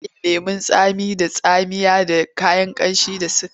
Ana yin lemon tsamiya da tsamiya da kayan ƙamshi da sukari.